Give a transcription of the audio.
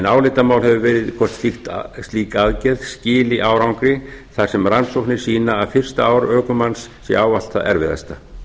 álitamál hefur verið hvort slík aðgerð skili árangri þar sem rannsóknar sýna að fyrsta ár ökumanns séu ávallt það erfiðasta